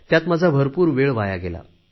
त्यात माझा भरपूर वेळ वाया गेला